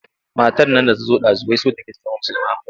Matar nan da ta zo ɗazu wai so take ta zama musulma.